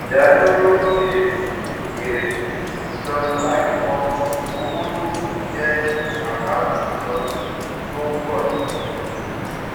ìdádúró èrè èrè ìsọnù àìmọ owó tó kù jẹ àkántì ìsọnù tó ń pọ si